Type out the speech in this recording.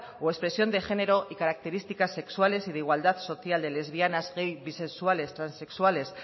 o expresión de género y características sexuales y de igualdad social de lesbianas gays bisexuales transexuales